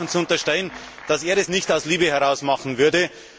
zu unterstellen, dass er das nicht aus Liebe heraus machen würde.